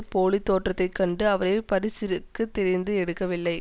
போலி தோற்றத்தை கண்டு அவரை பரிசிற்குத் தேர்ந்து எடுத்துவிடவில்லை